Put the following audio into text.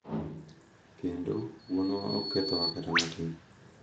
Kendo, wuonwa ok kethowa kata matin